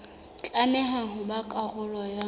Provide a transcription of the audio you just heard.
tlameha ho ba karolo ya